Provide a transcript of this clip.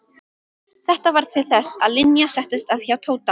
Þetta varð til þess að Linja settist að hjá Tóta.